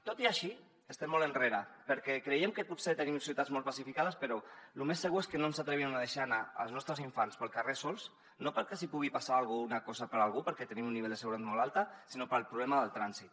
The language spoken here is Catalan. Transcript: tot i així estem molt enrere perquè creiem que potser tenim ciutats molt pacificades però lo més segur és que no ens atrevirem a deixar anar els nostres infants pel carrer sols no per que els pugui passar alguna cosa per algú perquè tenim un nivell de seguretat molt alt sinó pel problema del trànsit